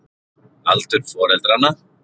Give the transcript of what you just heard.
aldur foreldranna